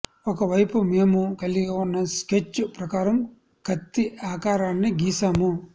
ఒక వైపు మేము కలిగి ఉన్న స్కెచ్ ప్రకారం కత్తి ఆకారాన్ని గీసాము